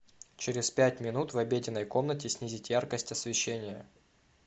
через пять минут в обеденной комнате снизить яркость освещения